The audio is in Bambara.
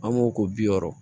An b'o ko bi wɔɔrɔ